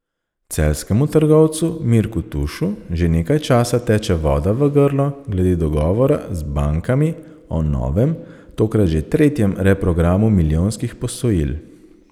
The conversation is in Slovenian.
Celjskemu trgovcu Mirku Tušu že nekaj časa teče voda v grlo glede dogovora z bankami o novem, tokrat že tretjem reprogramu milijonskih posojil.